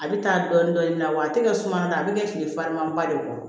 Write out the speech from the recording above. A bɛ taa dɔɔnin dɔɔnin na wa a tɛ kɛ suma na a bɛ kɛ kile fariman ba de kɔrɔ